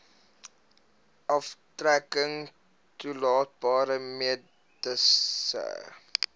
aftrekking toelaatbare mediese